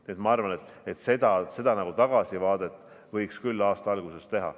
Nii et ma arvan, et seda tagasivaadet võiks küll aasta alguses teha.